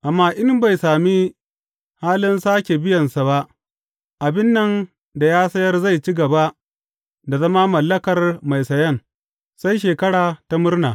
Amma in bai sami halin sāke biyansa ba, abin nan da ya sayar zai ci gaba da zama mallakar mai sayan, sai Shekara ta Murna.